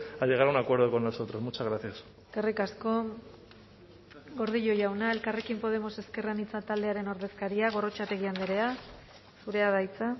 a llegar a un acuerdo con nosotros muchas gracias eskerrik asko gordillo jauna elkarrekin podemos ezker anitza taldearen ordezkaria gorrotxategi andrea zurea da hitza